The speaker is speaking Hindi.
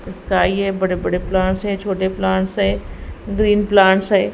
स्काई है बड़े बड़े प्लांट्स हैं छोटे हैं ग्रीन हैं।